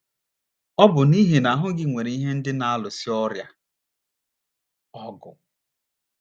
Ọ bụ n’ihi na ahụ́ gị nwere ihe ndị na - alụso ọrịa ọgụ.